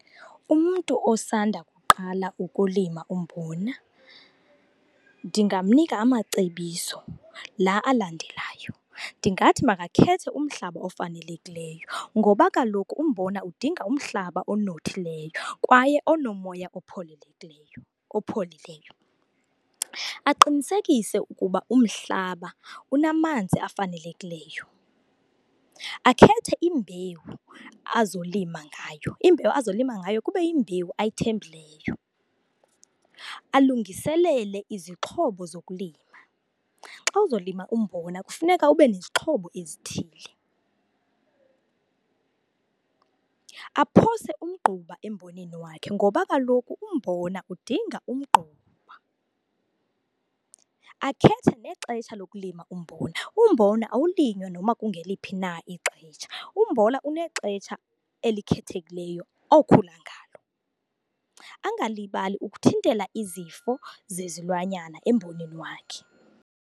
Umntu osanda kuqala ukulima umbona ndingamnika amacebiso, la alandelayo. Ndingathi makakhethe umhlaba ofanelekileyo ngoba kaloku umbona udinga umhlaba onothileyo kwaye onomoya opholileyo, aqinikesise ukuba umhlaba unamanzi afanelekileyo. Akhethe imbewu azolima ngayo, imbewu azolima ngayo kube yimbewu ayithembileyo. Alungiselele izixhobo zokulima. Xa uzolima umbona kufuneka ube nezixhobo ezithile. Aphose umgquba emboneni wakhe ngoba kaloku umbona udinga umgquba. Akhethe nexesha lokulima umbona. Umbona awulinywa nokuba kungeliphi na ixesha, umbona unexesha elikhethekileyo okhula ngalo. Angalibali ukuthintela izifo zezilwanyana emboneni wakhe.